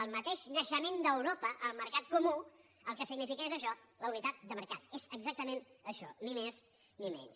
el mateix naixement d’europa el mercat comú el que significa és això la unitat de mercat és exactament això ni més ni menys